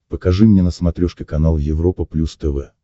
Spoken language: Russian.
покажи мне на смотрешке канал европа плюс тв